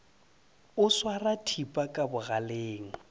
o swara thipa ka bogaleng